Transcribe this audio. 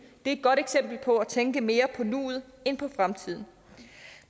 et godt eksempel på at tænke mere på nuet end på fremtiden